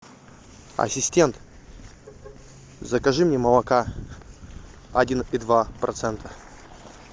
ассистент закажи мне молока один и два процента